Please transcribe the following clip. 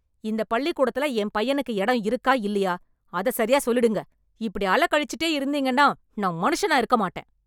இந்த பள்ளிக்கூடத்துல என் பையனுக்கு இடம் இருக்கா இல்லையா, அத சரியா சொல்லிடுங்க. இப்படி அலைக்கழிச்சுட்டே இருந்தீங்கன்னா நான் மனுஷனா இருக்க மாட்டேன்.